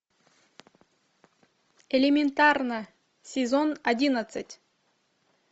элементарно сезон одиннадцать